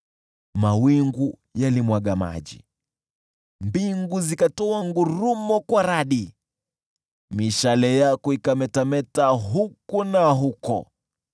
Mawingu yalimwaga maji, mbingu zikatoa ngurumo kwa radi, mishale yako ikametameta huku na huko.